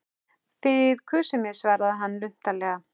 Þið kusuð mig svaraði hann luntalega.